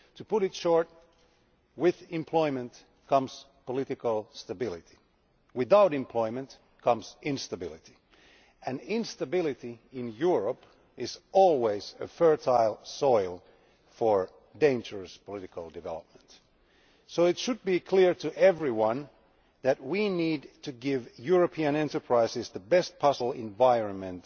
To put it in a nutshell, with employment comes political stability, without employment comes instability, and instability in Europe is always fertile soil for dangerous political development. So it should be clear to everyone that we need to give European enterprises the best possible environment